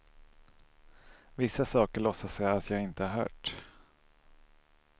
Vissa saker låtsas jag att jag inte har hört.